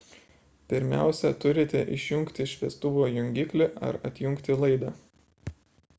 pirmiausia turite išjungti šviestuvo jungiklį ar atjungti laidą